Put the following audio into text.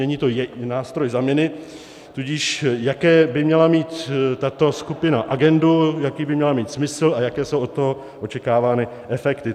Není to nástroj zamini, tudíž jakou by měla mít tato skupina agendu, jaký by měla mít smysl a jaké jsou od toho očekávány efekty.